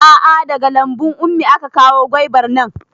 A'a daga lambun ummi aka kawo gwaibar nan